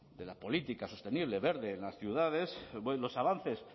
de la política sostenible verde en las ciudades los avances